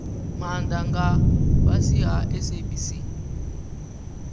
maana nga fhasi ha sabc